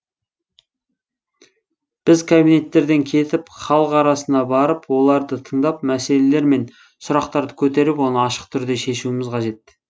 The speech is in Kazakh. біз кабинеттерден кетіп халық арасына барып оларды тыңдап мәселелер мен сұрақтарды көтеріп оны ашық түрде шешуіміз қажет